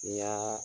N'i y'a